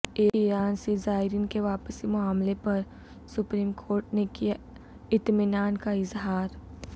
ایران سے زائرین کے واپسی معاملہ پر سپریم کورٹ نے کیا اطمینان کا اظہار